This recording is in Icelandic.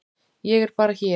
Ég er bara hér.